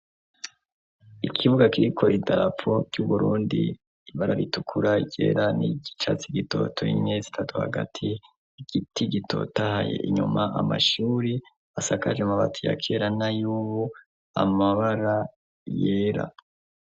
Ikibuga kiriko idarapo ry'Uburundi, ibara ritukura, ryera n'ryicatsi gitoto n'inyenyeri zitatu hagati, igiti gitotahaye inyuma amashuri asakaje amabati ya kera na y'ubu amabara yera.